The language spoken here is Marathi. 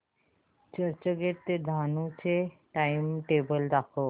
चर्चगेट ते डहाणू चे टाइमटेबल दाखव